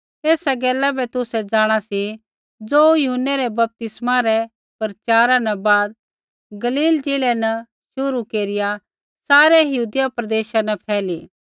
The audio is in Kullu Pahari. तेसा गैला बै तुसै जाँणा सी ज़ो यूहन्नै रै बपतिस्मै रै प्रचारा न बाद गलील ज़िलै न शुरू केरिआ सारै यहूदिया प्रदेशा न फैली